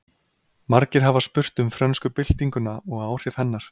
Margir hafa spurt um frönsku byltinguna og áhrif hennar.